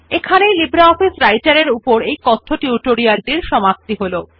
এই লিব্রিঅফিস রাইটের এর এই কথ্য টিউটোরিয়াল টির সমাপ্তি হল